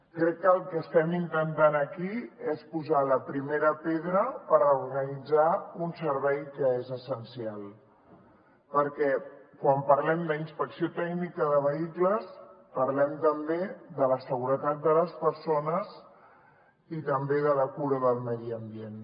crec que el que estem intentant aquí és posar la primera pedra per reorganitzar un servei que és essencial perquè quan parlem d’inspecció tècnica de vehicles parlem també de la seguretat de les persones i també de la cura del medi ambient